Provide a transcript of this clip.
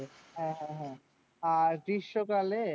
হ্যাঁ হ্যাঁ হ্যাঁ, আর গ্রীষ্মকালে